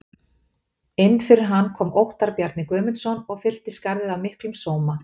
Inn fyrir hann kom Óttar Bjarni Guðmundsson og fyllti skarðið af miklum sóma.